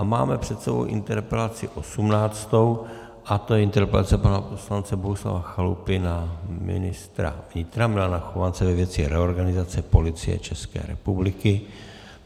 A máme před sebou interpelaci 18. a tou je interpelace pana poslance Bohuslava Chalupy na ministra vnitra Milana Chovance ve věci reorganizace Policie České republiky.